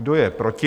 Kdo je proti?